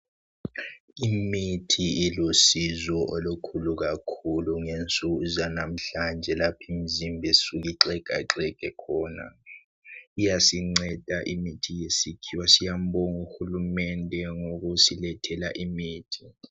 Imithi ilusizo olukhulu kakhulu ngensuku zanamuhlanje lapho imizimba isuka ixhegaxhege khona iyasinceda imithi yesikhiwa siyambonga uhulumende ngokusilethela imithi .